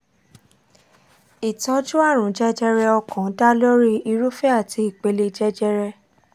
ìtọ́jú àrùn jẹjẹrẹ ọkàn dá lórí irúfẹ́ àti ìpele jẹjẹrẹ